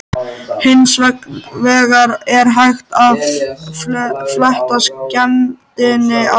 Hins vegar er hægt að fletta skemmdinni af.